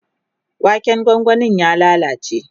waken gwangwanin ya lallace